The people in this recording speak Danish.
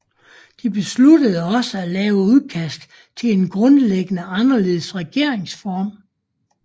De besluttede også at lave udkast til en grundlæggende anderledes regeringsform